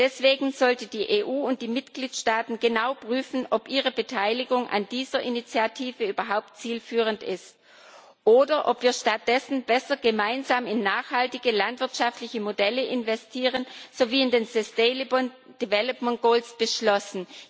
Deswegen sollten die EU und die Mitgliedstaaten genau prüfen, ob ihre Beteiligung an dieser Initiative überhaupt zielführend ist oder ob wir stattdessen besser gemeinsam in nachhaltige landwirtschaftliche Modelle investieren, wie in den sustainable development goals beschlossen.